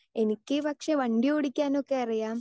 Speaker 2 എനിക്ക് പക്ഷേ വണ്ടിയോടിക്കാനൊക്കെ അറിയാം.